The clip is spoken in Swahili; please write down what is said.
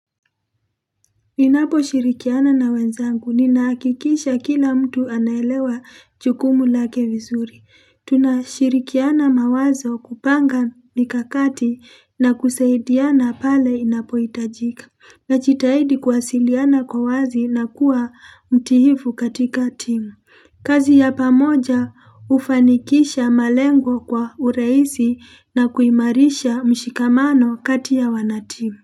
Ninaposhirikiana na wenzangu, ninahakikisha kila mtu anaelewa jukumu lake vizuri. Tunashirikiana mawazo kupanga mikakati na kusaidiana pale inapohitajika. Najitahidi kuwasiliana kwa wazi na kuwa mtiifu katika timu. Kazi ya pamoja hufanikisha malengo kwa urahisi na kuimarisha mshikamano kati ya wanatimu.